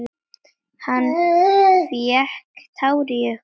Hann fékk tár í augun.